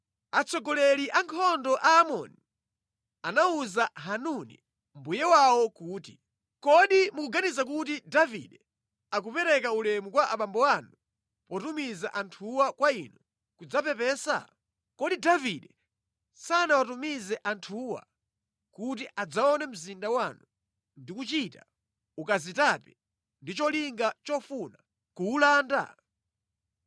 atsogoleri a ankhondo a Aamoni anawuza Hanuni mbuye wawo kuti, “Kodi mukuganiza kuti Davide akupereka ulemu kwa abambo anu potumiza anthuwa kwa inu kudzapepesa? Kodi Davide sanawatumize anthuwa kuti adzaone mzinda wanu ndi kuchita ukazitape ndi cholinga chofuna kuwulanda?”